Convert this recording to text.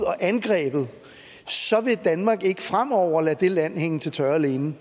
angrebet så vil danmark ikke fremover lade det land hænge til tørre alene